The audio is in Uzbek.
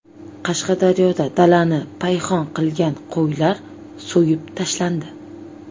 Qashqadaryoda dalani payhon qilgan qo‘ylar so‘yib tashlandi.